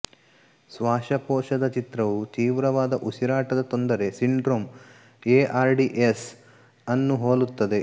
ಶ್ವಾಸಕೋಶದ ಚಿತ್ರವು ತೀವ್ರವಾದ ಉಸಿರಾಟದ ತೊಂದರೆ ಸಿಂಡ್ರೋಮ್ ಎಆರ್ಡಿಎಸ್ ಅನ್ನು ಹೋಲುತ್ತದೆ